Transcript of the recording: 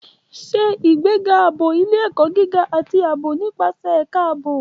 Ṣe ìgbéga ààbò ilé-ẹ̀kọ́ gíga àti ààbò nípasẹ̀ Ẹ̀ka Ààbò.